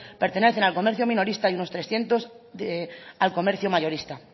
pertenecen al comercio minorista y unos trescientos al comercio mayorista